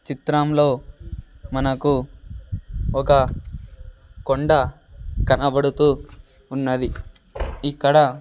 చిత్రంలో మనకు ఒక కొండ కనబడుతూ ఉన్నది ఇక్కడ--